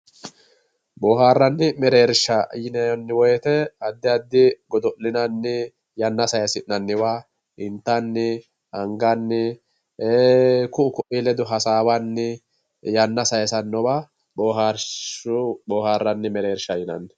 Boohaarranni mereersha yineemmowoyite addi addi godo'linanni yanna sayisi'nanniwa intanni anganni ku'u ko'ii ledo hasaambanni yanna sayinsanniwa boohaarranni mereersha yinanni.